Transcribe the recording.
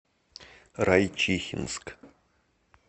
райчихинск